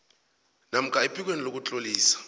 namkha ephikweni lokutlolisa